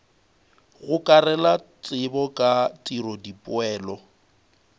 gokarela tsebo ka tiro dipoelo